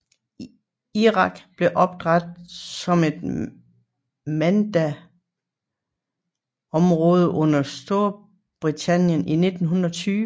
Irak blev oprætet som et mandatområde under Storbritannien i 1920